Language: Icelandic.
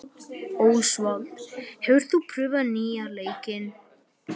Ósvald, hefur þú prófað nýja leikinn?